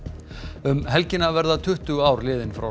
um helgina verða tuttugu ár liðin frá